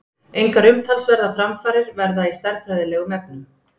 Engar umtalsverðar framfarir verða í stærðfræðilegum efnum.